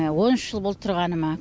он үш жыл болды тұрғаныма